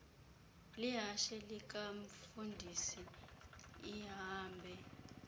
lihashe likamfundisi ihambe